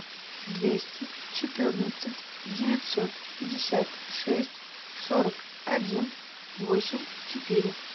двести четырнадцать девятьсот пятьдесят шесть сорок один восемь четыре